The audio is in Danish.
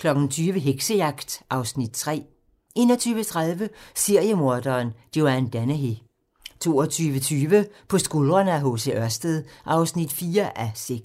20:00: Heksejagt (Afs. 3) 21:30: Seriemorderen Joanne Dennehy 22:20: På skuldrene af H. C. Ørsted (4:6)